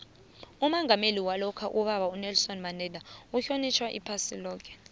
umongameli walokha ubaba unelson mandela uhlonitjhwa iphasi loke